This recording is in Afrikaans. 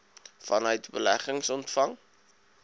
vanuit beleggings ontvang